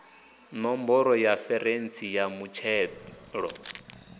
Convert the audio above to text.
ṋomboro ya referentsi ya muthelo